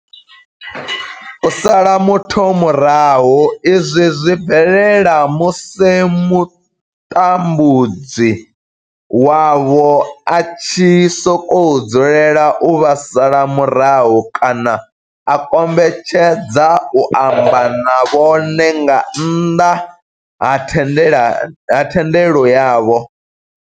U sala muthu murahu, izwi zwi bvelela musi mutambudzi wavho a tshi sokou dzulela u vha sala murahu kana a kombetshedza u amba na vhone nga nnḓa ha thendelo yavho.